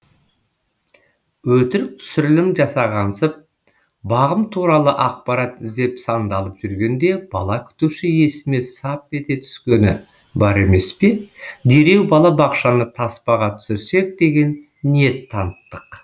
өтірік түсірілім жасағансып бағым туралы ақпарат іздеп сандалып жүргенде бала күтуші есіме сап ете түскені бар емес пе дереу балабақшаны таспаға түсірсек деген ниет таныттық